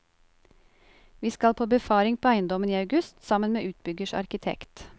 Vi skal på befaring på eiendommen i august sammen med utbyggers arkitekt.